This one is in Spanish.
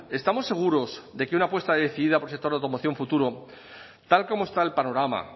estamos seguros de que una apuesta decidida por el sector de la automoción futuro tal como está el panorama